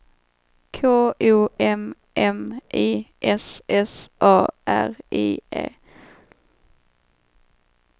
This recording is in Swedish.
K O M M I S S A R I E